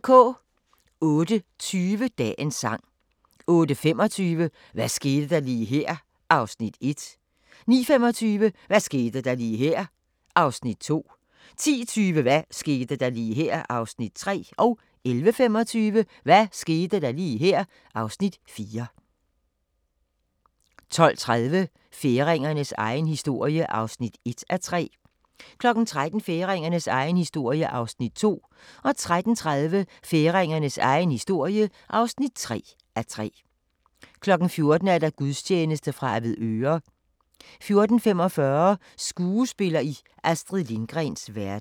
08:20: Dagens sang 08:25: Hvad skete der lige her? (Afs. 1) 09:25: Hvad skete der lige her? (Afs. 2) 10:20: Hvad skete der lige her? (Afs. 3) 11:25: Hvad skete der lige her? (Afs. 4) 12:30: Færingernes egen historie (1:3) 13:00: Færingernes egen historie (2:3) 13:30: Færingernes egen historie (3:3) 14:00: Gudstjeneste fra Avedøre 14:45: Skuespiller i Astrid Lindgrens verden